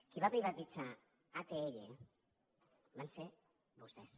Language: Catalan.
qui va privatitzar atll van ser vostès